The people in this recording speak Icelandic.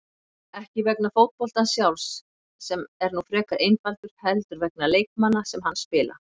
Ekki vegna fótboltans sjálfs, sem er nú frekar einfaldur, heldur vegna leikmanna sem hann spila.